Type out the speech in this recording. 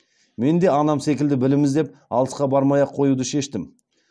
мен де анам секілді білім іздеп алысқа бармай ақ қоюды шештім